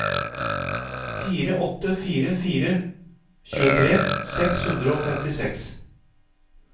fire åtte fire fire tjuetre seks hundre og femtiseks